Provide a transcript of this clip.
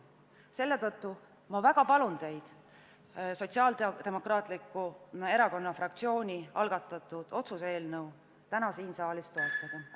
Selle tõttu ma väga palun teid Sotsiaaldemokraatliku Erakonna fraktsiooni algatatud otsuse eelnõu täna siin saalis toetada.